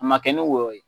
A ma kɛ ni wɔyɔ ye